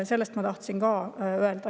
Seda ma tahtsin ka öelda.